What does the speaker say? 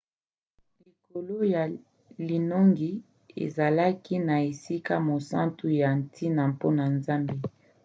likolo ya linongi ezalaki na esika mosantu ya ntina mpona nzambe